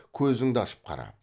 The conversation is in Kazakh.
көзіңді ашып қара